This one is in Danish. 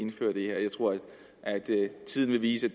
indfører det her jeg tror tiden vil vise